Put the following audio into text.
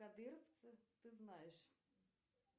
кадыровцев ты знаешь